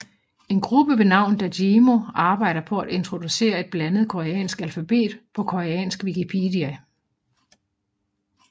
En gruppe ved navn Dajimo arbejder på at introducere et blandet koreansk alfabet på Koreansk Wikipedia